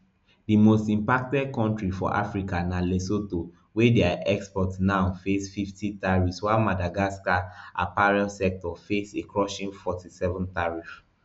di most impacted kontri for africa na lesotho wey dia exports now face fifty tariffs while madagascar apparel sector face a crushing forty-seven tariff